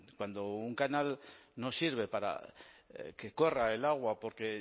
cuando un canal no sirve para que corra el agua porque